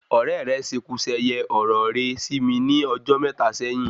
Òrẹ́ rẹ́ seku seye ọ̀rọ̀ re sí mí ní ọjọ mẹta sẹ́yín